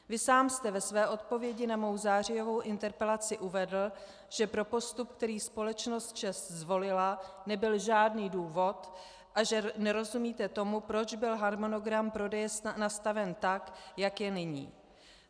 Vy sám jste ve své odpovědi na mou zářijovou interpelaci uvedl, že pro postup, který společnost ČEZ zvolila, nebyl žádný důvod a že nerozumíte tomu, proč byl harmonogram prodeje nastaven tak, jak je nyní.